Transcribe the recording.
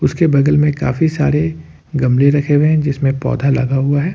उसके बगल में काफी सारे गमले रखे हुए हैं जिसमें पौधा लगा हुआ है।